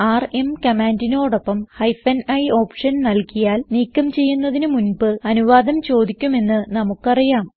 RM കമാൻഡിനോടൊപ്പം hyphen i option നൽകിയാൽ നീക്കം ചെയ്യുന്നതിന് മുൻപ് അനുവാദം ചോദിക്കുമെന്ന് നമുക്ക് അറിയാം